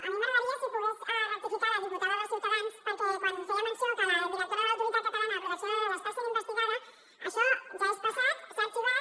a mi m’agradaria si pogués rectificar la diputada de ciutadans perquè quan feia menció que la directora de l’autoritat catalana de protecció de dades està sent investigada això ja és passat s’ha arxivat